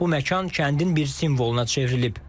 Bu məkan kəndin bir simvoluna çevrilib.